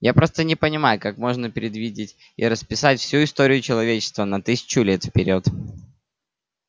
я просто не понимаю как можно предвидеть и расписать всю историю человечества на тысячу лет вперёд